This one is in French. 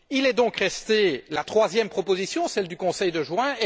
Est donc restée la troisième proposition, celle du Conseil de juin.